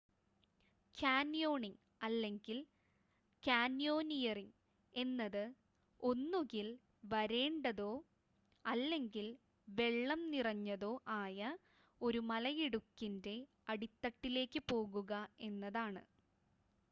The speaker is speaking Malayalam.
കാന്യോണിംഗ് അല്ലെങ്കിൽ: കാന്യോനിയറിംങ് എന്നത് ഒന്നുകിൽ വരണ്ടതോ അല്ലെങ്കിൽ വെള്ളം നിറഞ്ഞതോ ആയ ഒരു മലയിടുക്കിന്റെ അടിത്തട്ടിലേക്ക് പോകുക എന്നാണ്